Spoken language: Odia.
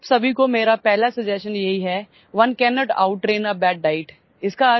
आप सभी को मेरापहला ସଜେଷ୍ଟନ यही है one can't outrun a bad diet